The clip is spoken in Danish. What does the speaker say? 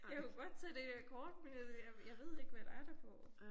Jeg kunne godt tage det her kort men jeg jeg jeg ved ikke hvad der er derpå